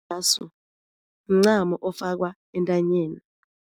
mncamo ofakwa entanyeni.